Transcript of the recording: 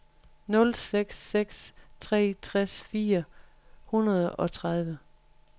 nul seks seks tre tres fire hundrede og tredive